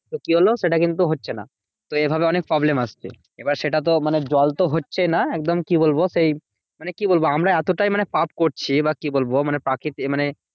তো কি হলো? সেটা কিন্তু হচ্ছে না। এভাবে অনেক problem আসছে। এবার সেটা তো মানে জল তো হচ্ছেই না একদম। কি বলবো? সেই মানে কি বলবো? আমরা এতটাই মানে পাপ করছি বা কি বলবো? প্রাকৃতিক মানে